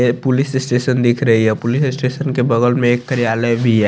ये police station दिख रही है या पुलिस स्टेशन के बगल में एक कर्यालय भी है।